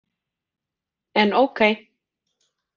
En ókei.